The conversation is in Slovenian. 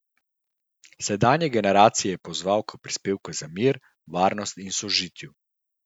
Sedanje generacije je pozval k prispevku za mir, varnost in sožitju.